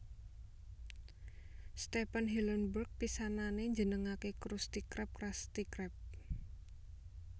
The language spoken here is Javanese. Stephen Hillenburg pisanane njenengake Krusty Krab Crusty Crab